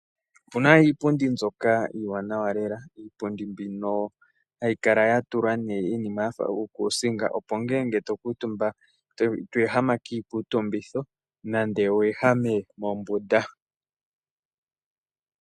Opu na iipundi mbyoka iiwanawa lela. Iipundi mbino hayi kala ya tulwa uunima wa fa uukuusinga, opo ngele to kuutumba ito ehama kiikuutumbitho nenge wu ehame mombunda.